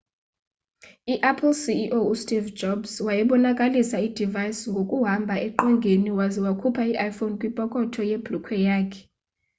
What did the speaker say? i-apple ceo u steve jobs wayebonakalisa i-device ngokuhamba eqongeni waze wakhupha i-iphone kwipokotho yebhulukhwe yakhe